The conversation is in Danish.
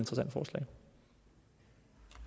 det